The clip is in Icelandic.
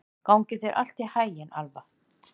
Gangi þér allt í haginn, Alfa.